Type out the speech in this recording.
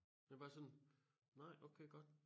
Det bare sådan nej okay godt